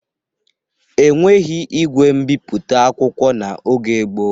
E nweghi igwe mbiputa akwụkwọ n'oge gboo.